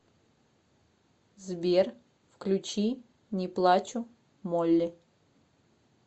сбер включи не плачу молли